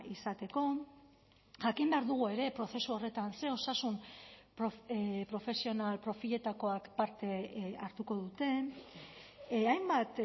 izateko jakin behar dugu ere prozesu horretan ze osasun profesional profiletakoak parte hartuko duten hainbat